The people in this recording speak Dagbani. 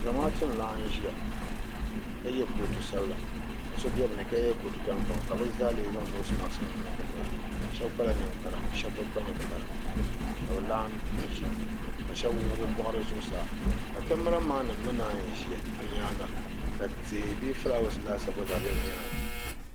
Zamaatu n laɣim ʒiya ka yɛ kootu sabila ka so bɛ bi ni ka yɛ kootu tankpaɣu ka bi zaa lee zaŋ noosi maks nim niŋ bi noya shɛba kpala ninkpara shɛba bi kpa ninkpara ka bi laɣim ʒi duu ka shɛba wuɣi bi bɔɣiri zuɣusaa ka kamara maan nim mi naayi ʒiya bi nyaanga ka tihi bee filaawaas laasabu gba zaa bɛ bi nyaanga.